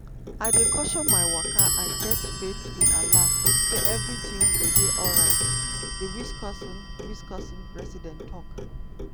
"i dey caution my waka and get faith in allah say evri tin go dey alright" di wisconsin wisconsin resident tok.